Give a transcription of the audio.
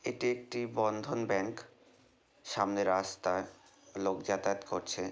এটি একটি বন্ধন ব্যাংক সামনে রাস্তয় লোক যাতায়াত করছে।